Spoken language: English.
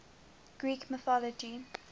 greek mythology